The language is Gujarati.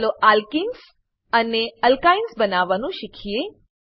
ચાલો એલ્કેનેસ અલકિન્સ અને એલ્કાઇન્સ અલકાઈન્સ બનાવવાનું શીખીએ